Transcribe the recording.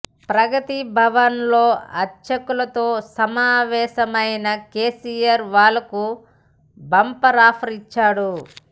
ప్రగతి భవన్ లో అర్చకులతో సమావేశమైన కేసీఆర్ వాళ్లకు బంపర్ ఆఫర్ ఇచ్చాడు